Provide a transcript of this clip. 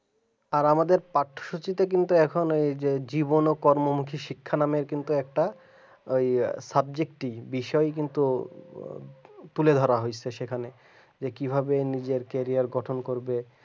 আর আমাদের পাঠসূচি টা কিন্তু এখন ওই যে জীবন ও কর্মমুখী শিক্ষা নামে কিন্তু একটা বিষয় কিন্তু তুলে ধরা হয়েছে সেখানে যে কিভাবে নিজের গঠন গঠন করবে আর আমাদের পাঠ্যসূচীটা কিন্তু